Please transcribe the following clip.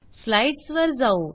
slides वर जाऊ